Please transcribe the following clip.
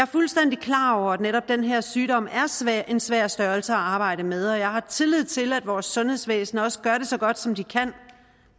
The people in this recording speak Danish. fuldstændig klar over at netop den her sygdom er en svær størrelse at arbejde med og jeg har tillid til at vores sundhedsvæsen også gør det så godt som de kan